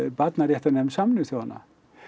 barnaréttarnefnd Sameinuðu þjóðanna